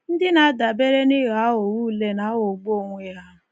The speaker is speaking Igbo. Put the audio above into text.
Ndị na-adabere n’ịghọ aghụghọ ule na-aghọgbu onwe ha.